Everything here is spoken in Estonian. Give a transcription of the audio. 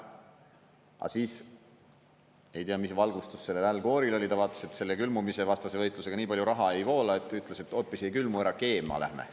Aga siis, ei tea, mis valgustus sellel Al Gore'il oli, ta vaatas, et selle külmumisevastase võitlusega nii palju raha ei voola, ja ütles, et hoopis ei külmu ära, keema lähme.